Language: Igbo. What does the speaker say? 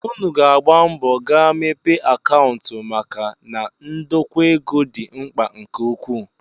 Unu ga-agba mbọ gaa mepee akaụntụ maka na ndokwa ego dị mkpa nke ukwuu